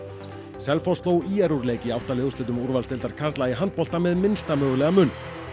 Selfoss sló ÍR úr leik í átta liða úrslitum úrvalsdeildar karla í handbolta með minnsta mögulega mun